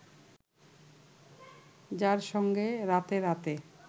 যার সঙ্গে রাতে রাতে